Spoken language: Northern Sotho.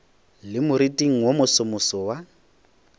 le moriting wo mosomoso wa